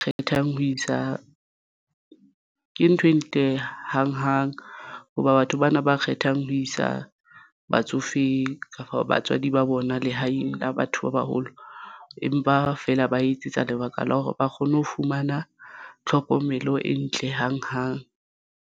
Kgethang ho isa ke ntho e ntle hang hang hoba batho bana ba kgethang ho isa batsofe kapa batswadi ba bona lehaeng la batho ba baholo, empa feela ba etsetsa lebaka la hore ba kgone ho fumana tlhokomelo e ntle hang hang.